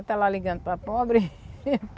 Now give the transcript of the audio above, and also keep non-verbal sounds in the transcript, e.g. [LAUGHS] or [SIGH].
E está lá ligando para pobre. [LAUGHS]